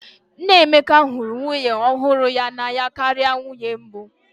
Nna Emeka hụrụ nwunye ọhụrụ ya n'anya karịa nwunye mbụ